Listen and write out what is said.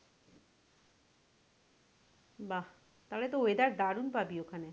বাহ তাহলে তো weather দারুন পাবি ওখানে।